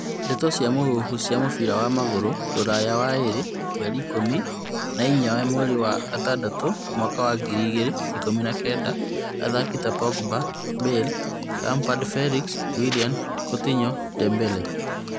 Ndeto cia mũhuhu cia mũbira wa magũrũ Rũraya waĩrĩ mweri ikũmi na inyanya mweri wa gatandatũ mwaka wa ngiri igĩrĩ ikũmi na kenda athaki ta Pogba, Bale, Lampard Felix, Willian, Countinho, Dembele